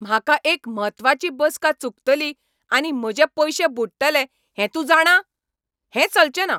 म्हाका एक म्हत्वाची बसका चुकतली आनी म्हजे पयशे बुडटले हें तूं जाणा? हें चलचेंना.